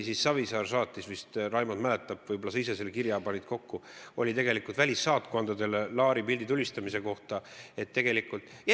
Savisaar saatis vist – Raimond mäletab, võib-olla sa ise panid selle kirja kokku – välissaatkondadele pildi tulistamise kohta kirja.